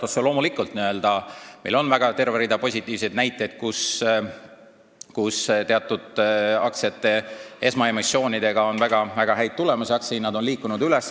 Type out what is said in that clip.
Otse loomulikult on terve rida positiivseid näiteid teatud aktsiate esmaemissioonide kohta, mis on andnud häid tulemusi, aktsia hind on liikunud üles.